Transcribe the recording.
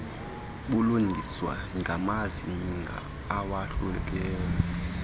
bulungiswe ngamazinga awohluka